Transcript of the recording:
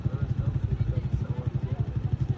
Sağ tərəfdən söhbət gedir.